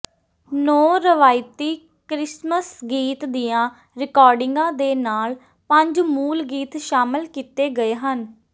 ਨੌਂ ਰਵਾਇਤੀ ਕ੍ਰਿਸਮਸ ਗੀਤ ਦੀਆਂ ਰਿਕਾਰਡਿੰਗਾਂ ਦੇ ਨਾਲ ਪੰਜ ਮੂਲ ਗੀਤ ਸ਼ਾਮਲ ਕੀਤੇ ਗਏ ਹਨ